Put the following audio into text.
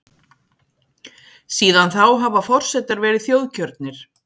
síðan þá hafa forsetar verið þjóðkjörnir